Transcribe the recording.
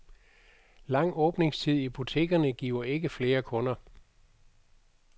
Lang åbningstid i butikkerne giver ikke flere kunder.